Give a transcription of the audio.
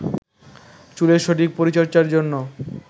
চুলের সঠিক পরিচর্চার জন্য